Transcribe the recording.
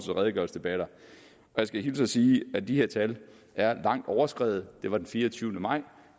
jeg skal hilse og sige at de her tal er langt overskredet det var den fireogtyvende maj